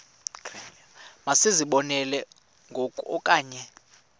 masizibonelele ngoku okanye